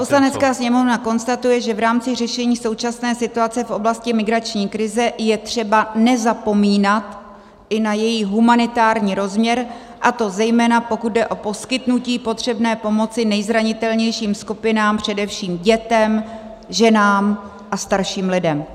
"Poslanecká sněmovna konstatuje, že v rámci řešení současné situace v oblasti migrační krize je třeba nezapomínat i na její humanitární rozměr, a to zejména pokud jde o poskytnutí potřebné pomoci nejzranitelnějším skupinám, především dětem, ženám a starším lidem."